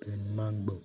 bẹ́ẹ̀ni, máa ń gbọ́.